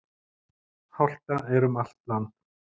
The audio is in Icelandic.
Hálka er um allt land.